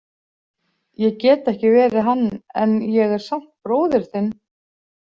Ég get ekki verið hann en ég er samt bróðir þinn.